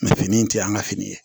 fini in tɛ an ka fini ye